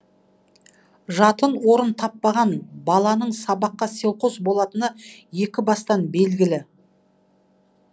жатын орын таппаған баланың сабаққа селқос болатыны екібастан белгілі